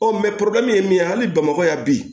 Ɔ min ye hali bamakɔ yan bi